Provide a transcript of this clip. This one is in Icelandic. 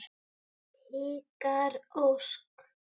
Ykkar Ósk.